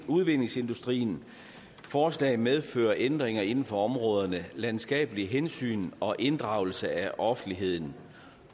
udvindingsindustrien og forslaget medfører ændringer inden for områderne landskabelige hensyn og inddragelse af offentligheden